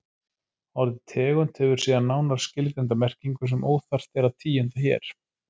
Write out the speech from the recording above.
Orðið tegund hefur síðan nánar skilgreinda merkingu sem óþarft er að tíunda hér.